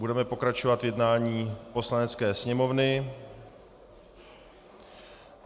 Budeme pokračovat v jednání Poslanecké sněmovny.